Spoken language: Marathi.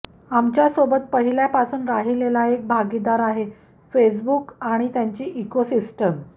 आमच्यासोबत पहिल्यापासून राहिलेला एक भागीदार आहे फेसबुक आणि त्यांची इकोसिस्टिम